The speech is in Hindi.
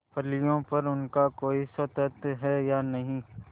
फलियों पर उनका कोई स्वत्व है या नहीं